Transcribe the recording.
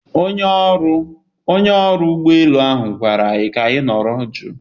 Onye ọrụ ụgbọ elu ahụ gwara anyị ka anyị nọrọ jụụ